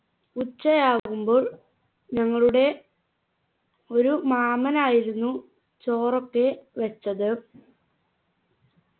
ഉച്ചയാകുമ്പോൾ ഞങ്ങളുടെ ഒരു മാമനായിരുന്നു ചോറൊക്കെ വെച്ചത്